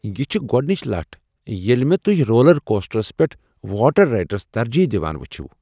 یہ چھِ گۄڈنچ لٹھ ییٚلہ مےٚ توہہِ رولر کوسٹرس پیٹھ واٹر رایڈس ترجیح دوان وٗچھوٕ ۔